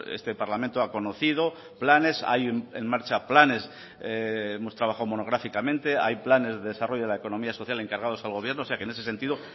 este parlamento ha conocido planes hay en marcha planes hemos trabajo monográficamente hay planes de desarrollo de la economía social encargados al gobierno o sea que en ese sentido